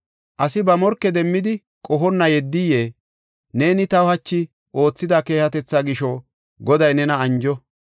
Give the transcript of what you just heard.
Asi ba morke demmidi qohonna yeddiyee? Neeni taw hachi oothida keehatetha gisho, Goday nena anjo.